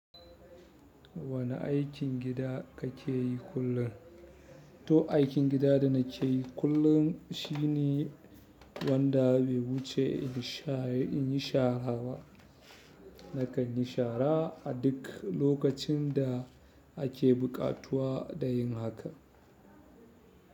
Wane aikin gida kake yi kullum? To, aikin gida da nake yi kullum shi ne wanda bai wuce in yi sha in yi shara ba. Nakan yi shara a duk lokacin da ake buƙatuwa da yin haka.